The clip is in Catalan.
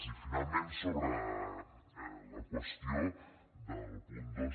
i finalment sobre la qüestió del punt dos